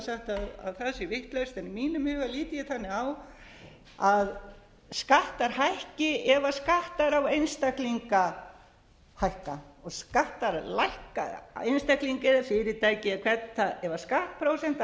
vitlaust en í mínum huga lít ég þannig á að skattar hækki ef skattar á einstaklinga hækka og skattar lækka á einstaklinga eða fyrirtæki eða hvern þann ef